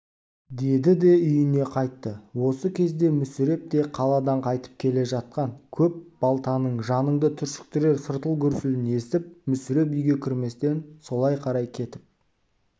деді де үйіне қайтты осы кезде мүсіреп те қаладан қайтып келе жатқан көп балтаның жаныңды түршіктірер сартыл-гүрсілін естіп мүсіреп үйге кірместен солай қарай кетіп